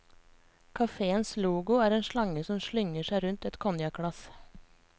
Kaféens logo er en slange som slynger seg rundt et konjakkglass.